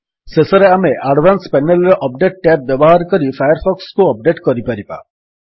ଶେଷରେ ଆମେ advance panel ରେ ଅପଡେଟ୍ ଟ୍ୟାବ୍ ବ୍ୟବହାର କରି ଫାୟାରଫକ୍ସକୁ ଅପଡେଟ୍ କରିପାରିବା